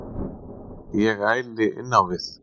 Ég æli innávið.